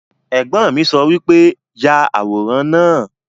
Ẹ̀gbọ́n mi sọ wípé 'Yà àwòrán náà'